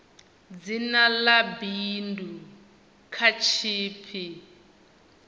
dzina ḽa bindu kha tshipi